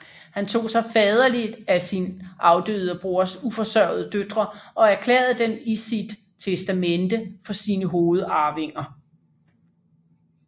Han tog sig faderligt af sin afdøde broders uforsørgede døtre og erklærede dem i sit testamente for sine hovedarvinger